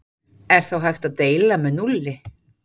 Er þá hægt að deila með núlli?